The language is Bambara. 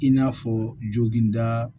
I n'a fɔ joginda